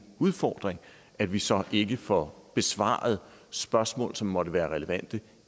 udfordring at vi så ikke får besvaret spørgsmål som måtte være relevante